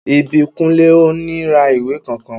Ìbíkúnlé ò ní ra ìwé kankan